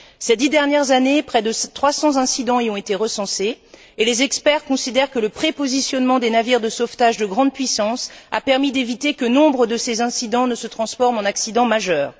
Ces dix dernières années, près de 300 incidents y ont été recensés, et les experts considèrent que le prépositionnement des navires de sauvetage de grande puissance a permis d'éviter que nombre de ces incidents ne se transforment en accident majeur.